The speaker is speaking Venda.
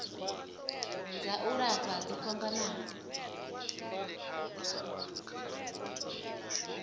dza u lafha dzo fhambanaho